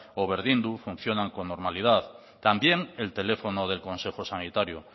o berdindu funcionan con normalidad también el teléfono del consejo sanitario